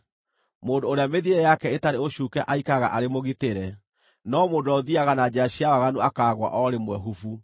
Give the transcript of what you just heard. Mũndũ ũrĩa mĩthiĩre yake ĩtarĩ ũcuuke aikaraga arĩ mũgitĩre, no mũndũ ũrĩa ũthiiaga na njĩra cia waganu akaagũa o rĩmwe, hubu!